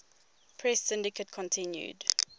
press syndicate continued